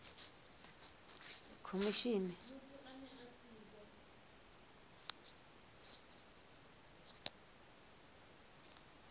khomishini